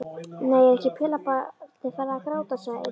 Nei, er ekki pelabarnið farið að gráta, sagði einn þeirra.